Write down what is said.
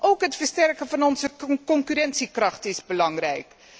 Ook het versterken van onze concurrentiekracht is belangrijk.